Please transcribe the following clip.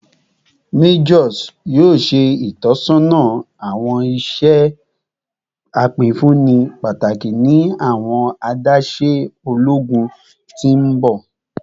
Majors yoo ṣe itọsọna awọn iṣẹ apinfunni pataki ni awọn adaṣe ologun ti n bọ